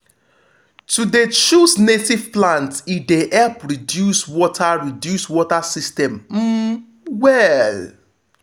to de choose native plant e de help reduce water reduce water system um well.